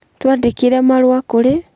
Twandĩkĩre marũa kũrĩ: